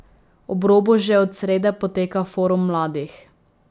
Ob robu že od srede poteka forum mladih.